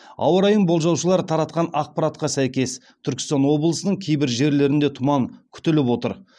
ауа райын болжаушылар таратқан ақпаратқа сәйкес түркістан облысының кейбір жерлерінде тұман күтіліп отыр